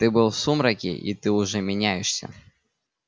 ты был в сумраке и ты уже меняешься